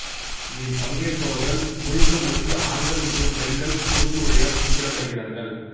இதில் பங்கேற்பவர்கள் முழுக்க முழுக்க ஆண்கள் மற்றும் பெண்கள் குறுக்கு உடையால் குறிப்பிடப்படுகிறார்கள்